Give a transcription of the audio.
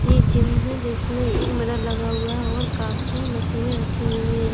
यह जिम है जिसमें मिरर लगा हुआ है और काफी मशीन रखी हुई हैं।